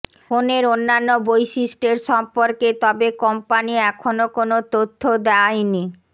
ফোনের অন্যান্য বৈশিষ্ট্য এর সম্পর্কে তবে কোম্পানি এখনো কোনো তথ্য দেওয়া নি